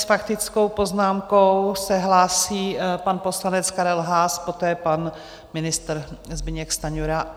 S faktickou poznámkou se hlásí pan poslanec Karel Haas, poté pan ministr Zbyněk Stanjura.